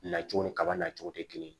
Nacogo ni kaba nacogo tɛ kelen ye